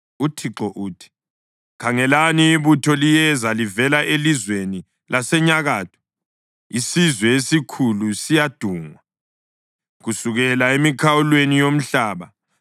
UThixo uthi: “Khangelani, ibutho liyeza livela elizweni lasenyakatho, isizwe esikhulu siyadungwa kusukela emikhawulweni yomhlaba.